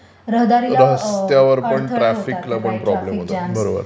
रहदारीला अडथळे येतात म्हणजे ऍडिशनल हे हे झाले